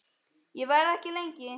Ég verð ekki lengi